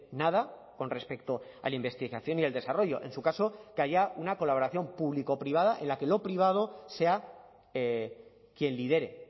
nada con respecto a la investigación y el desarrollo en su caso que haya una colaboración público privada en la que lo privado sea quien lidere